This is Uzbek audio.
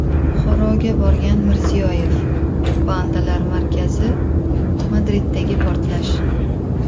Buxoroga borgan Mirziyoyev, pandalar markazi, Madriddagi portlash.